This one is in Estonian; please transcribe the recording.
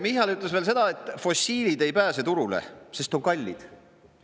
Michal ütles veel seda, et fossiilid ei pääse turule, sest on kallid.